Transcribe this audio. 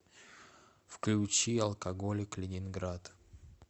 включи алкоголик ленинград